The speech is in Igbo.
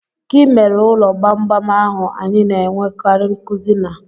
Gị mere ụlọ gbamgbam ahụ anyị na-enwekarị nkuzi na?